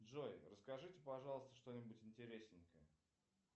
джой расскажите пожалуйста что нибудь интересненькое